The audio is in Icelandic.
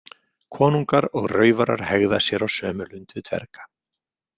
Konungar og raufarar hegða sér á sömu lund við dverga.